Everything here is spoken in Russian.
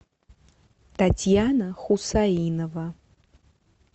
татьяна хусаинова